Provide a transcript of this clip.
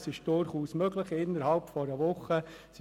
Das ist durchaus innerhalb einer Woche möglich.